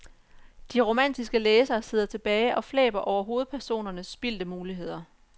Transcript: De romantiske læsere sidder tilbage og flæber over hovedpersonernes spildte muligheder.